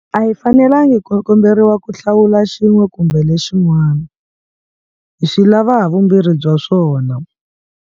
A hi fanelangi ku komberiwa ku hlawula xin'we kumbe lexin'wana. Hi swi lava havumbirhi bya swona.